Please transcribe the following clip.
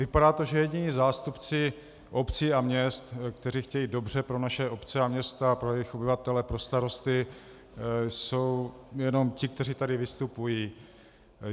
Vypadá to, že jediní zástupci obcí a měst, kteří chtějí dobře pro naše obce a města, pro jejich obyvatele, pro starosty, jsou jen ti, kteří tady vystupují.